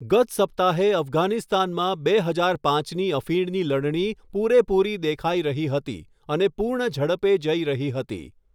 ગત સપ્તાહે, અફઘાનિસ્તાનમાં બે હજાર પાંચની અફીણની લણણી પૂરેપૂરી દેખાઈ રહી હતી અને પૂર્ણ ઝડપે જઈ રહી હતી.